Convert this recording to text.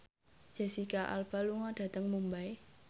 Jesicca Alba lunga dhateng Mumbai